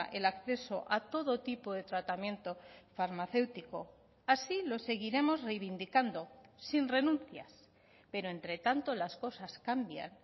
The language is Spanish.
el acceso a todo tipo de tratamiento farmacéutico así lo seguiremos reivindicando sin renuncias pero entre tanto las cosas cambian